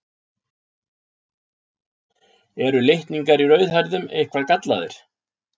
Eru litningar í rauðhærðum eitthvað gallaðir?